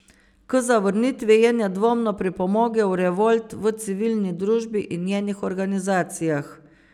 K zavrnitvi je nedvomno pripomogel revolt v civilni družbi in njenih organizacijah.